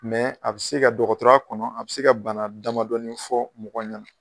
Mɛ a bɛ se ka dɔgɔtɔrɔya kɔnɔ a bɛ se ka bana damadɔɔni fɔ mɔgɔw ɲɛna.